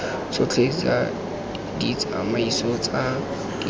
tsotlhe tsa ditsamaiso tsa diforamo